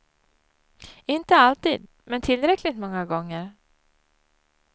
Inte alltid, men tillräckligt många gånger.